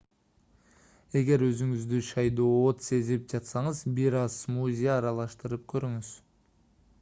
эгер өзүңүздү шаайдоот сезип жатсаңыз бир аз смузи аралаштырып көрүңүз